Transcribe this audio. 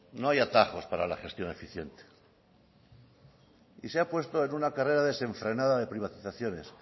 no hay atajos para la gestión eficiente y se ha puesto en una carrera desenfrenada de privatizaciones